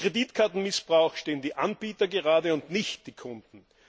Für Kreditkartenmissbrauch stehen die Anbieter gerade und nicht die Kunden.